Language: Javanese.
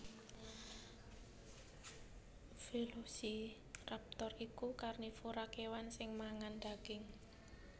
Velociraptor iku karnivora kèwan sing mangan daging